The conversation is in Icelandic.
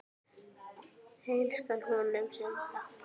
Heill skal honum senda.